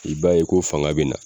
I b'a ye ko fanga be na